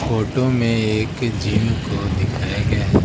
Photo में एक gym को दिखाया गया है।